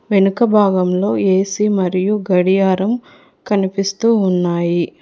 వెనుక భాగంలో ఏ_సీ మరియు గడియారం కనిపిస్తూ ఉన్నాయి.